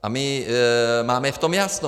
A my máme v tom jasno.